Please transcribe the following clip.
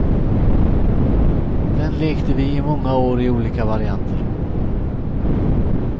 Den lekte vi i många år i olika varianter.